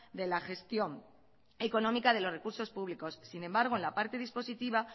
de la gestión económica de los recursos públicos sin embargo en la parte dispositiva